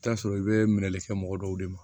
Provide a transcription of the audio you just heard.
I bi t'a sɔrɔ i be minɛli kɛ mɔgɔ dɔw de ma